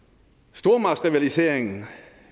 stormagtsrivaliseringen